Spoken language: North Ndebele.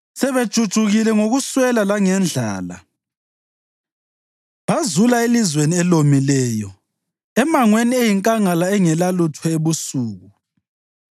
sebejujukile ngokuswela langendlala, bazula elizweni elomileyo emangweni eyinkangala engelalutho ebusuku.